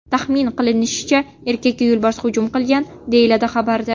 Taxmin qilinishicha, erkakka yo‘lbars hujum qilgan”, deyiladi xabarda.